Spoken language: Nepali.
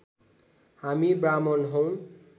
हामी ब्राह्मण हौँ